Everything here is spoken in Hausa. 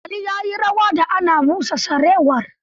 Ali ya yi rawa da ana busa sarewar.